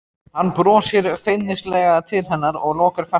Hann brosir feimnislega til hennar og lokar kassanum.